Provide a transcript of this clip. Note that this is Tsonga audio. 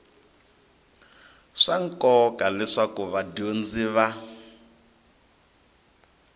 swa nkoka leswaku vadyondzi va